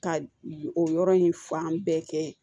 Ka o yɔrɔ in fan bɛɛ kɛ